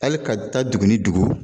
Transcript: Hali ka taa dugu ni dugu